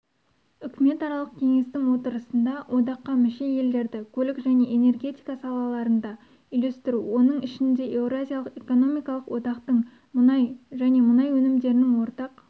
үкіметаралық кеңестің отырысында одаққа мүше елдерді көлік және энергетика салаларында үйлестіру оның ішінде еуразиялық экономикалық одақтың мұнай және мұнай өнімдерінің ортақ